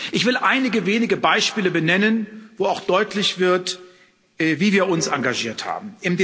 Ich will einige wenige Beispiele benennen, an denen auch deutlich wird, wie wir uns engagiert haben.